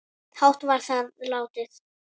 hátt var þar látið